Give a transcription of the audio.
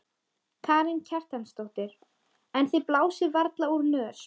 Karen Kjartansdóttir: En þið blásið varla úr nös?